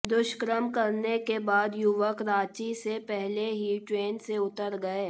दुष्कर्म करने के बाद युवक रांची से पहले ही ट्रेन से उतर गए